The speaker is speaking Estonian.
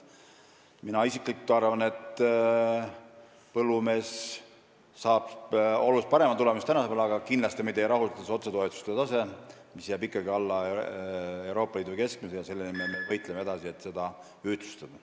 Mina arvan, et põllumees saab palju parema tulemuse kui praegu, aga kindlasti meid ei rahulda otsetoetused, mis jäävad ikkagi alla Euroopa Liidu keskmise, ja selle nimel me võitleme edasi, et neid ühtlustada.